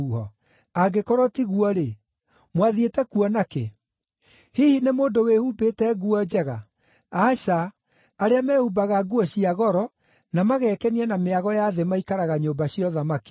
Angĩkorwo ti guo-rĩ, mwathiĩte kuona kĩ? Hihi nĩ mũndũ wĩhumbĩte nguo njega? Aca, arĩa mehumbaga nguo cia goro na magekenia na mĩago ya thĩ maikaraga nyũmba cia ũthamaki.